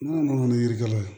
N'an kɔni ye yiritigɛla ye